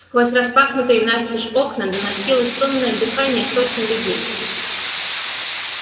сквозь распахнутые настежь окна доносилось сонное дыхание сотен людей